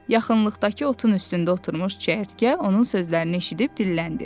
Yaxınlıqdakı otun üstündə oturmuş çəyirtkə onun sözlərini eşidib dilləndi.